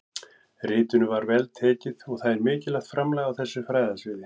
Ritinu var vel tekið og það er mikilvægt framlag á þessu fræðasviði.